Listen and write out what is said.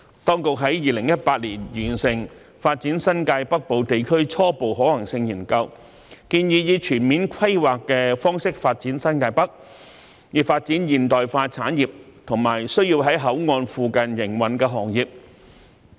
當局在2018年完成《發展新界北部地區初步可行性研究》，建議以全面規劃的方式發展新界北，以發展現代化產業及需要在口岸附近營運的行業。